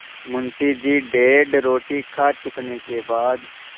मुंशी जी डेढ़ रोटी खा चुकने के बाद